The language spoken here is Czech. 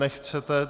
Nechcete.